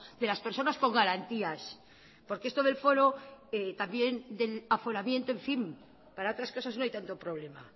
de las personas con garantías porque esto del foro también del aforamiento en fin para otras cosas no hay tanto problema